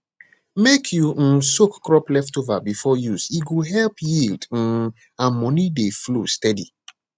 mek you um soak crop leftover before use e go help yield um and money dey flow steady